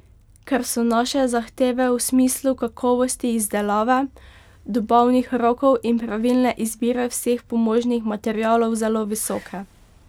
Ker so naše zahteve v smislu kakovosti izdelave, dobavnih rokov in pravilne izbire vseh pomožnih materialov zelo visoke.